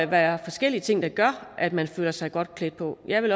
være forskellige ting der gør at man føler sig godt klædt på jeg vil